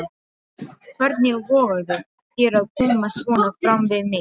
Hvernig vogarðu þér að koma svona fram við mig!